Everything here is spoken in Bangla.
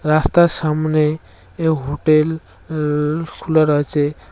রাস্তার সামনে এ হোটেল উম খুলা রয়েছে।